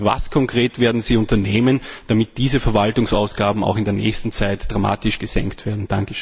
Und was konkret werden Sie unternehmen, damit diese Verwaltungsausgaben auch in der nächsten Zeit dramatisch gesenkt werden?